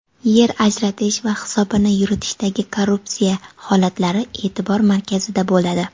yer ajratish va hisobini yuritishdagi korrupsiya holatlari e’tibor markazida bo‘ladi.